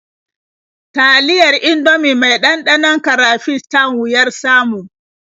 Taliyar Indomie mai ɗanɗanon karafish tan wuyar samu.